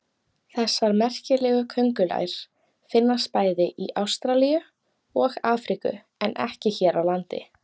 Þessar merkilegu köngulær finnast bæði í Ástralíu og Afríku en ekki hér á landi.